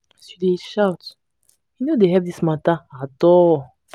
as you dey shout e no dey help dis mata at all.